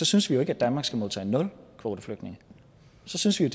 synes vi jo ikke at danmark skal modtage nul kvoteflygtninge så synes vi